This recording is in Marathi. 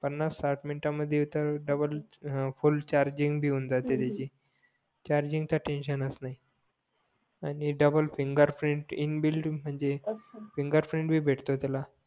पानास साठ मिनटं मध्ये तर डबल फुल चाह्र्जिंग भी होऊन जाते त्याची चार्जींग चा टेन्सिवनच नाही आणि डबल फिंगर प्रिंट इनबिल्ट म्हणजे फिंगर प्रिंट भी भेटतो त्याला